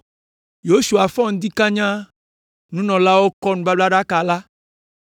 Yosua fɔ ŋdi kanya, nunɔlaawo kɔ nubablaɖaka la,